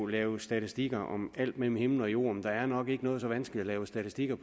lave statistikker om alt mellem himmel og jord men der er nok ikke noget så vanskeligt at lave statistikker